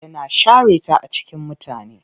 Yana share ta a cikin mutane.